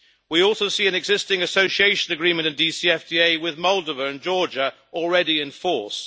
We also see an existing Association Agreement in DCFTA with Moldova and Georgia already in force.